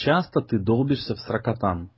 часто ты долбишься в сракотан